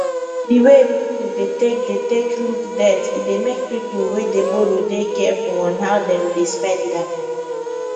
the way people dey take dey take look debt e dey make people wey dey boroow dey careful on how dem dey spend am